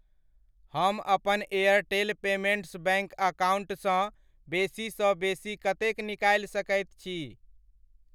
हम अपन Airtel payments bank अकाउंटसँ बेसी सँ बेसी कतेक निकालि सकैत छी?